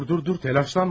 Dur, dur, dur təlaşlanma.